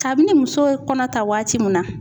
Kabini muso ye kɔnɔta waati min na